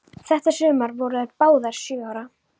Þetta sumar voru þær báðar sjö ára.